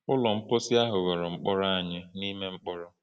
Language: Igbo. Ụlọ mposi ahụ ghọrọ mkpọrọ anyị n’ime mkpọrọ.